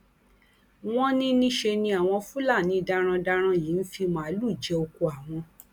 wọn ní níṣẹ ni àwọn fúlàní darandaran yìí ń fi màálùú jẹ ọkọ àwọn